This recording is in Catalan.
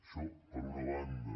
això per una banda